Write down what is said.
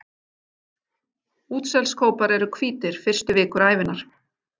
Útselskópar eru hvítir fyrstu vikur ævinnar.